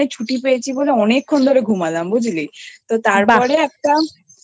ছুটি পেয়েছি বলে অনেক্ষন ধরে ঘুমালাম বুঝলি? বাহ্ তো তারপরে একটা